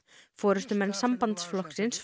forystumenn sambandsflokksins